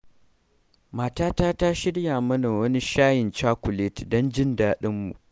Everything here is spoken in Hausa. Matata ta shirya mana wani shayin cakuleti don jin daɗinmu.